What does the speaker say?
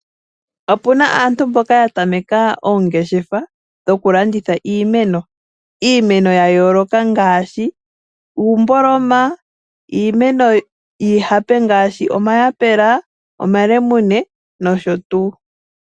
Opu na aantu mboka ya tameka oongeshefa dhokulanditha iimeno, ya yooloka ngaashi; iimboloma, iimeno yiihape ngaashi; omayapela, omalemune, nosho tuu.